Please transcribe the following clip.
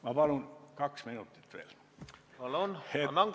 Ma palun kaks minutit veel!